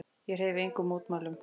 Ég hreyfi engum mótmælum.